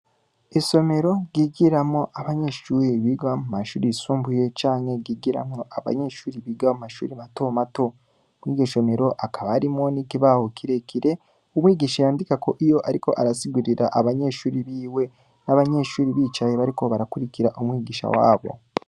Isomero ryigiramwo abanyeshure biga mu mashuri yisumbuye canke ryigiramwo abanyeshure biga mu mashure mato mato. Kw'iryo somero hakaba hariho n'ikibaho kirekire umwigisha yandikako iyo ariko arasigurira abanyeshuri biwe. Abanyeshuri bicaye bariko barakurikira umwigisha wabo.